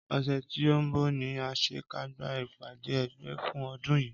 Ọsẹ tí o nbọ ní àsekágbá ìpàdé ẹ̀gbẹ́ fún ọdún yìí